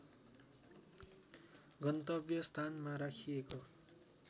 गन्तव्य स्थानमा राखिएको